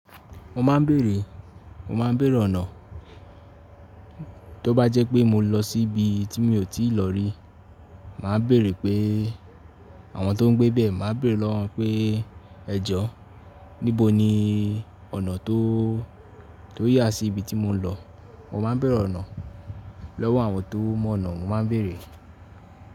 Mo máa ń bèrè, mo máa ń bèrè ọ̀nà tó bá jẹ́ pé mo lọ sí ibi tí mi ò tíì lọ rí. Màá bèrè pé, àwọn tó ń gbé bẹ́ẹ̀, màá bèrè lọ́wọ́ won pé ẹ̀jọ̀, níbo ni ọ̀nà tó, tó yà sí ibi tí mo ń lọ. Mo máa ń bèrè ọ̀nà lọ́wọ́ àwọn tó mọ̀ ọ̀nà, mo máa ń bèrè.